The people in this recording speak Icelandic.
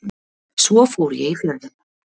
Svo fór ég í Fjörðinn.